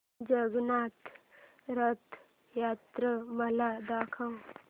जगन्नाथ रथ यात्रा मला दाखवा